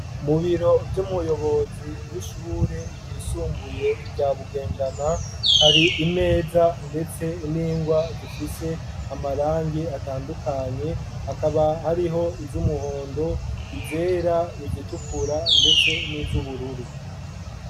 Mu biro vy'umuyobozi w'ishure ryisumbuye, rya Bugendana, hari imeza, ndetse n'ingwa zifise amarangi atandukanye; hakaba hariho iz'umuhondo, izera, izitukura ,ndetse n'iz'ubururu.